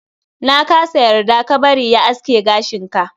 Na kasa yarda ka bari ya aske gashin ka.